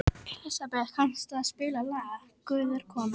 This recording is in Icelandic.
Elísabeth, kanntu að spila lagið „Guð er kona“?